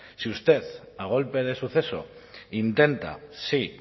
si usted a golpe de suceso intenta sí